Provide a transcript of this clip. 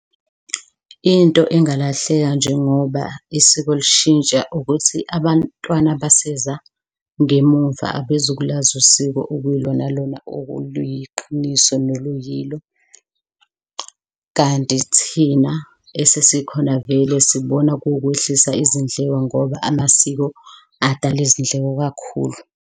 Into engalahleka njengoba isiko lushintsha ukuthi abantwana abaseza ngemumva abezukulazi usiko okuyilona lona oluyiqiniso noluyilo, kanti thina esesikhona vele sibona kuwukwehlisa izindleko ngoba amasiko adala izindleko kakhulu.